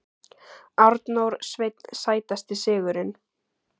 Arnór Sveinn Sætasti sigurinn?